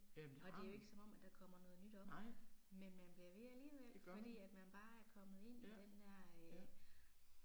Jamen det har man. Nej. Det gør man. Ja, ja